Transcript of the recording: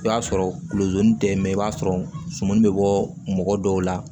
I b'a sɔrɔ kulozon tɛ mɛn i b'a sɔrɔ sumuni be bɔ mɔgɔ dɔw la